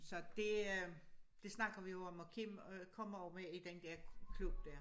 Så det øh det snakker vi jo om og Kim øh kommer ovre i den der klub dér